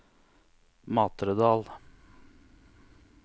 Matredal